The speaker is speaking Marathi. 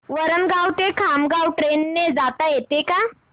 वरणगाव ते खामगाव ट्रेन ने जाता येतं का